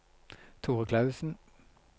Thore Klausen